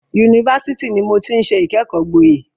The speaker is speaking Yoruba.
Yunifásitì ni mo ti ń ṣe ìkẹ́kọ̀ọ́ gboyè.